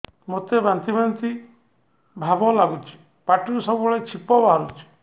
ମୋତେ ବାନ୍ତି ବାନ୍ତି ଭାବ ଲାଗୁଚି ପାଟିରୁ ସବୁ ବେଳେ ଛିପ ବାହାରୁଛି